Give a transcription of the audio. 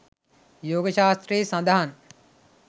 යෝග ශාස්ත්‍රයේ සඳහන්.